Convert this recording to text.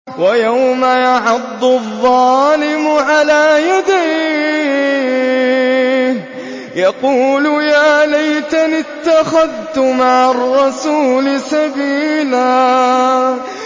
وَيَوْمَ يَعَضُّ الظَّالِمُ عَلَىٰ يَدَيْهِ يَقُولُ يَا لَيْتَنِي اتَّخَذْتُ مَعَ الرَّسُولِ سَبِيلًا